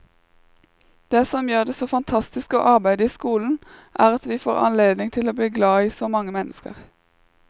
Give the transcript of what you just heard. Det som gjør det så fantastisk å arbeide i skolen, er at vi får anledning til å bli glad i så mange mennesker.